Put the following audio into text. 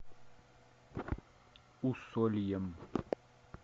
усольем